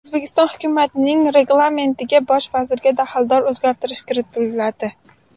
O‘zbekiston hukumatining reglamentiga bosh vazirga daxldor o‘zgartirish kiritiladi.